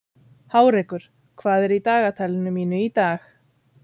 Hárekur, hvað er í dagatalinu mínu í dag?